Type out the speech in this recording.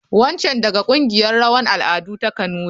Wancan daga kungiyar rawan al'adu ta kanuri.